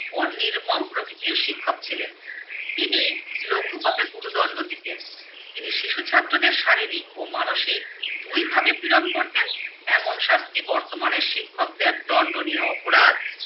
ও নির্মম প্রকৃতির শিক্ষক ছিলেন। তিনি লঘু পাপে গুরু দণ্ড দিতেন। তিনি শিশু ছাত্রদের শারীরিক ও মানসিক দুই ভাবে পীড়ন করতেন। এমন শাস্তি বর্তমানে শিক্ষকদের দণ্ডনীয় অপরাধ।